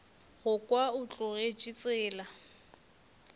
go kwa o tlogetše tsela